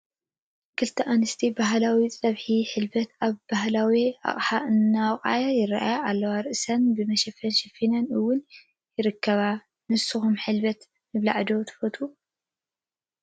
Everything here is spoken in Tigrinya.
ክልተ ኣንስቲ ባህላዊ ፀብሒ ሕልበት ኣብ ባህላዊ ኣቕሓ እንትወቕዓ ይራኣያ ኣለዋ፡፡ ርአሰን ብመሸፈን ሸፊነን እውን ይርከባ፡፡ ንስኻትኩም ብሕልበት ምብላዕ ዶ ትፈትው?